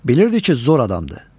Bilirdi ki, zor adamdır.